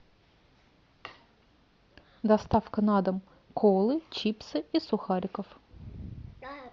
доставка на дом колы чипсы и сухариков